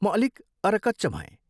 म अलिक अरकच्च भएँ।